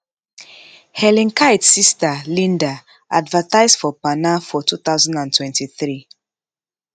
helen kite sister linda advertise for parner for 2023